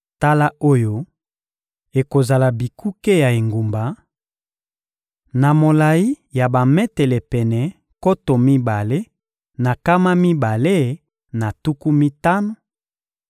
«Tala oyo ekozala bikuke ya engumba: Na molayi ya bametele pene nkoto mibale na nkama mibale na tuku mitano,